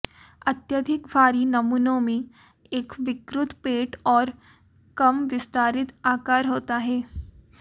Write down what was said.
अत्यधिक भारी नमूनों में एक विकृत पेट और कम विस्तारित आकार होता है